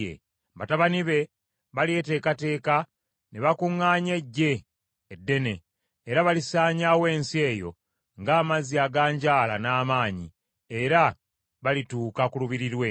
Batabani be balyeteekateeka ne bakuŋŋaanya eggye eddene era balisaanyaawo ensi eyo ng’amazzi aganjaala n’amaanyi, era balituuka ku lubiri lwe.